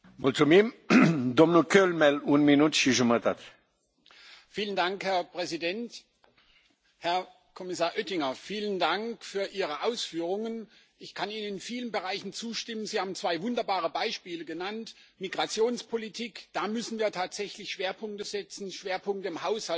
Herr Präsident, Herr Kommissar Oettinger! Vielen Dank für Ihre Ausführungen. Ich kann Ihnen in vielen Bereichen zustimmen. Sie haben zwei wunderbare Beispiele genannt Migrationspolitik, da müssen wir tatsächlich Schwerpunkte setzen. Schwerpunkte im Haushalt heißt, wir brauchen ausreichend Geld, und zwar auf verschiedenen Ebenen.